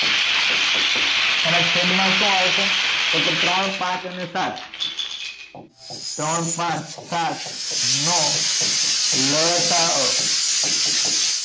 આના છેદ માં શું આવશે તો કે ત્રણ પાંચ અને સાત ત્રણ પાંચ સાત નો લસા અ